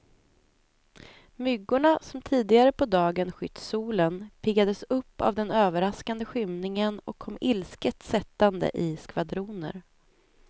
Myggorna som tidigare på dagen skytt solen, piggades upp av den överraskande skymningen och kom ilsket sättande i skvadroner.